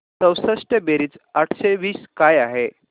चौसष्ट बेरीज आठशे वीस काय आहे